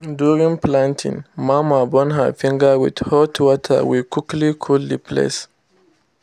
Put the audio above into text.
during planting mama burn her finger with hot water we quickly cool the place.